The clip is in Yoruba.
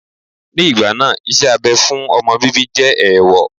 Ní ìgbà náà, iṣẹ́ abẹ fún ọmọ bíbí jẹ́ ẹ̀ẹ̀wọ̀